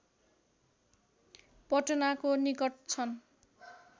पटनाको निकट छन्